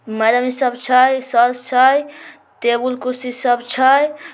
Madam सब छै sir छै टेबुल कुर्सी सब छै।